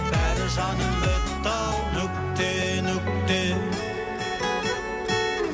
бәрі жаным бітті ау нүкте нүкте